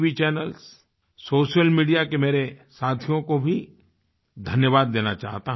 channels social media के मेरे साथियों को भी धन्यवाद देना चाहता हूँ